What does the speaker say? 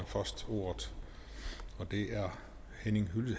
først ordet og det er